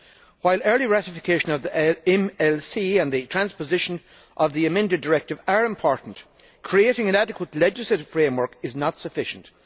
While early ratification of the MLC and the transposition of the amended directive are important, creating an adequate legislative framework is not sufficient.